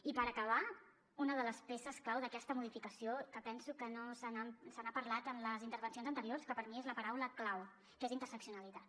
i per acabar una de les peces clau d’aquesta modificació que penso que no se n’ha parlat en les intervencions anteriors que per mi és la paraula clau que és interseccionalitat